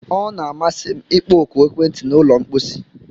Ọ na-amasị m ịkpọ oku ekwentị na ụlọ mposi